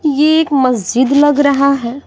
ये एक मस्जिद लग रहा है।